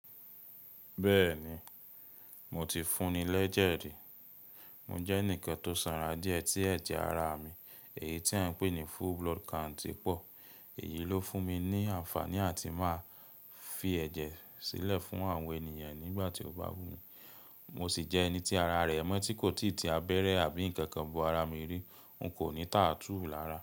Bẹ́ẹ̀ni, mo ti fún ni lẹ́jẹ̀ rí. Mo jẹ́ ẹnìkan tó sanra díẹ̀ tí ẹ̀jẹ̀ ara mi, èyí tí wọ́n ń pè ní full blood count pọ̀. Èyí ló fún mi ní àǹfààní àti máa fi ẹ̀jẹ̀ sílẹ̀ fún àwọn ènìyàn nígbà tí o bá wù mí. Mo sì jẹ́ ẹni tí ara rẹ̀ mọ́ tí kò tì abẹ́rẹ́ àbí ǹkan kan bo ara mi rí. N kò ní tààtúù lára.